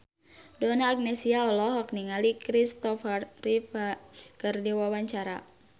Donna Agnesia olohok ningali Kristopher Reeve keur diwawancara